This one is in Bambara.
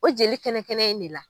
O jeli kɛnɛ kɛnɛ in ne la.